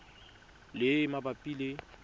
le e e mabapi le